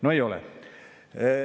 No ei ole!